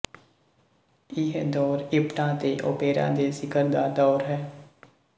ਇਹ ਦੌਰ ਇਪਟਾ ਤੇ ਓਪੇਰਾ ਦੇ ਸਿਖਰ ਦਾ ਦੌਰ ਹੈ